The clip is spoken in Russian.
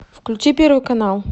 включи первый канал